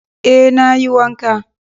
Eh nayi wanka